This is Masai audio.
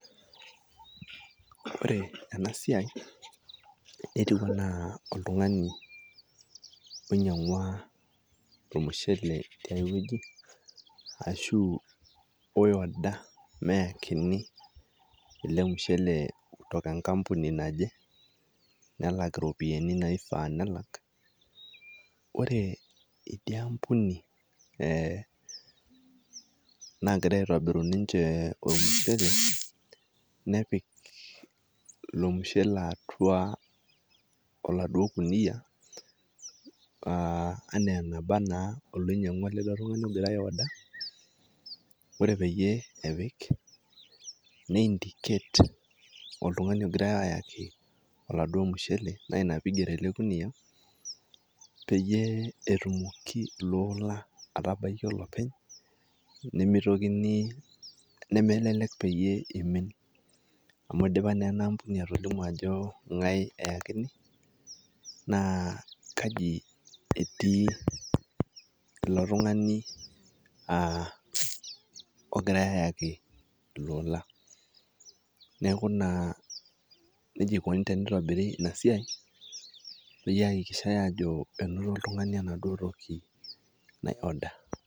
Ore ena siai netiu enaa oltung'ani oinyang'ua ormushele tiai wueji ashu oiorder meakini ele mushele kutoka enkampuni naje, nelak iropiani naifaa nelak. Ore idia ampuni e nagira aitobiru ninje ormushele nepik ilo mushele atua oladuo kunia a enaa enaba naa oloinyang'ua duo ele tung'ani ogira duo aiorder, ore peeyie epik niindicate oltung'ani ogirai ayaki oladuo mushele naa ina piigero ele kunia peyie etumoki ilo ola atabaiki olopeny nemitokini, nemelek peyie imin amu idipa naa ena ambuni atolimu ajo ng'ai eyakini naa kaji etii ele tung'ani a ogirai ayaki ilo ola. Neeku naa neija ikuni tenitobiri ina siai nihakikishai ajo einoto oltung'ani enaduo toki naiorder.